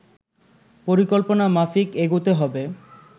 পরিকল্পনা মাফিক এগুতে হবে